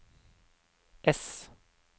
ess